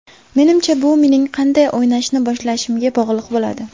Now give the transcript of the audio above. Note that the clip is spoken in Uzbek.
Menimcha, bu mening qanday o‘ynashni boshlashimga bog‘liq bo‘ladi.